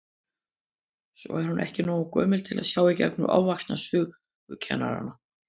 Svo er hún ekki nógu gömul til að sjá í gegnum ofvaxna sögukennara.